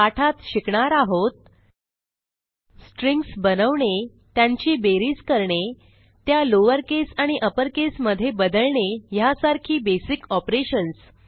पाठात शिकणार आहोत स्ट्रिंग्ज बनवणे त्यांची बेरीज करणे त्या लॉवर केस आणि अपर केस मध्ये बदलणे ह्यासारखी बेसिक ऑपरेशन्स